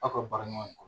Aw ka baara ɲɔgɔn